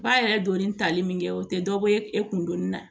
Ba yɛrɛ donni tali min kɛ o tɛ dɔ ye e kun donni na